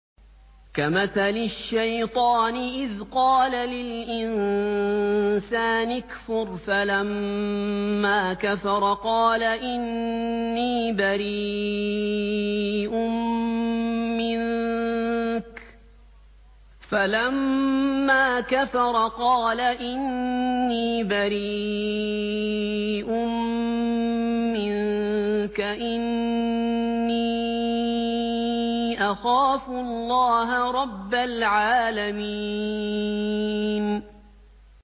كَمَثَلِ الشَّيْطَانِ إِذْ قَالَ لِلْإِنسَانِ اكْفُرْ فَلَمَّا كَفَرَ قَالَ إِنِّي بَرِيءٌ مِّنكَ إِنِّي أَخَافُ اللَّهَ رَبَّ الْعَالَمِينَ